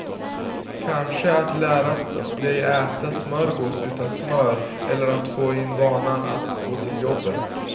Kanske att lära dig äta smörgås utan smör eller att få in vanan att gå till jobbet.